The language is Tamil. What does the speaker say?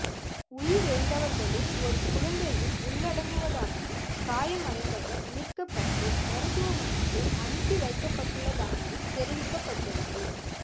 உயிரிழந்தவர்களில் ஒரு குழந்தையும் உள்ளடங்குவதாகவும் காயமடைந்தவர் மீட்கப்பட்டு மருத்துவமனைக்கு அனுப்பி வைக்கப்பட்டுள்ளதாகவும் தெரிவிக்கப்பட்டள்ளது